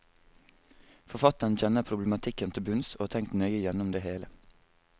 Forfatteren kjenner problematikken til bunns, og har tenkt nøye gjennom det hele.